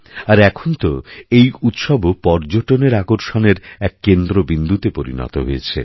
আর এখন তো এই উৎসবও পর্যটনেরআকর্ষণের এক কেন্দ্রবিন্দুতে পরিণত হয়েছে